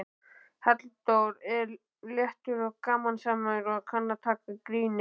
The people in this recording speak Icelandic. Halldór er léttur og gamansamur og kann að taka gríni.